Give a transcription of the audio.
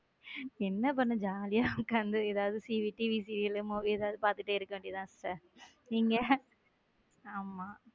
என்ன பண்ண jolly யா உக்காந்து வீட்டில ஏதாவது TVserial movie ஏதாவது பாத்துட்டு இருக்க வேண்டியது தான் நீங்க? ஆமா.